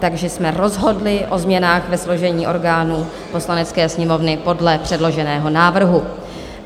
Takže jsme rozhodli o změnách ve složení orgánů Poslanecké sněmovny podle předloženého návrhu.